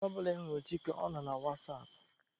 Mgbe ọ bụla ị hụrụ Chike, ọ nọ na wasapụ.